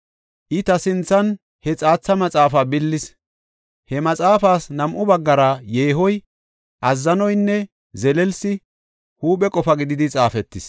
I ta sinthan he xaatha maxaafa billis; he maxaafas nam7u baggara yeehoy, azzanoynne zelelsi huuphe qofa gididi xaafetis.